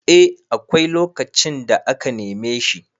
eh akwai lokacin da aka neme shi